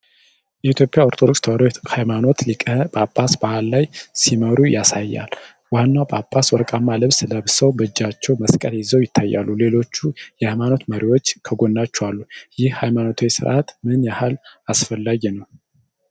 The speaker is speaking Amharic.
የኢትዮጵያ ኦርቶዶክስ ተዋሕዶ ሃይማኖት ሊቃነ ጳጳሳት በዓል ላይ ሲመሩ ያሳያል። ዋናው ጳጳስ ወርቃማ ልብስ ለብሰው በእጃቸው መስቀል ይዘው ይታያሉ፤ ሌሎችም የሃይማኖት መሪዎች ከጎናቸው አሉ። ይህ ሃይማኖታዊ ሥርዓት ምን ያህል አስፈላጊ ነው?